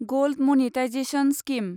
gold monetisation scheme